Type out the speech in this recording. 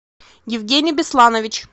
евгений бесланович